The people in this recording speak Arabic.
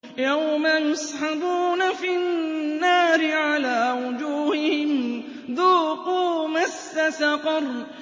يَوْمَ يُسْحَبُونَ فِي النَّارِ عَلَىٰ وُجُوهِهِمْ ذُوقُوا مَسَّ سَقَرَ